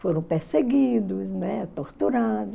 Foram perseguidos, né, torturado